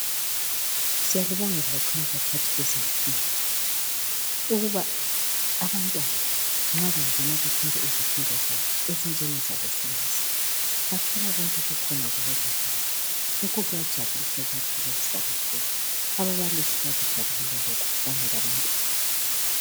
Siyalibonga kakhulu baphathi bezemfundo ukuba abantwana nxa bengena befunda izifundo zabo ezinjengezabo science, bathola konke kubo lab yabo. Lokhu kuyajabulisa kuyathokozisa kakhulu. Ababalisi bayakujabulela lokhu kanye labantwana.